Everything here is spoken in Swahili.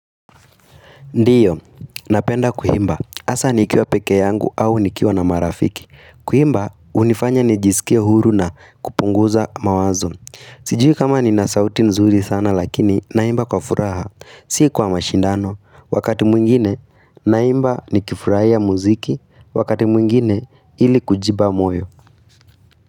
Ndiyo, napenda kuimba, hasaa nikiwa peke yangu au nikiwa na marafiki Kuimba, hunifanya nijisikia huru na kupunguza mawazo Sijui kama ninasauti nzuri sana lakini, naimba kwa furaha, si kwa mashindano Wakati mwingine, naimba nikifurahia muziki, wakati mwingine, ili kujipa moyo.